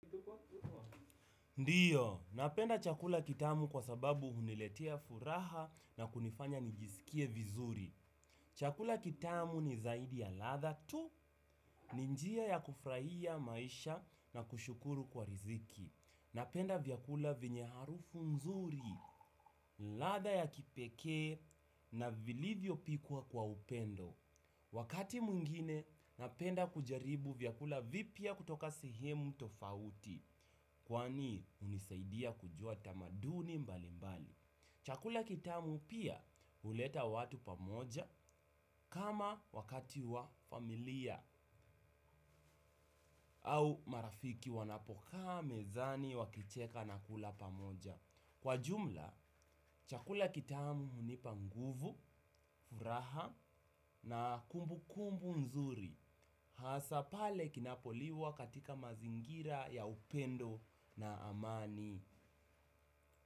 Ndiyo, napenda chakula kitamu kwa sababu huniletea furaha na kunifanya nijisikie vizuri. Chakula kitamu ni zaidi ya ladha tu, ni njia ya kufurahia maisha na kushukuru kwa riziki. Napenda vyakula vyenye harufu mzuri, ladha ya kipekee na vilivyo pikwa kwa upendo. Wakati mwigine, napenda kujaribu vyakula vipya kutoka sehemu tofauti. Kwani hunisaidia kujua tamaduni mbali mbali. Chakula kitamu pia huleta watu pamoja kama wakati wa familia au marafiki wanapokaa mezani wakicheka na kula pamoja. Kwa jumla, chakula kitamu hunipa nguvu, furaha na kumbukumbu nzuri. Hasa pale tunapoliwa katika mazingira ya upendo na amani.